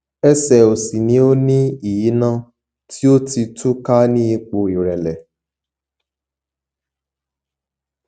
ẹsẹ òsì ni ó ní ìyínà tí ó ti tú ká ní ipò ìrẹlẹ